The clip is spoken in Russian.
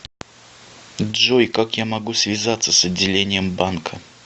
джой как я могу связаться с отделением банка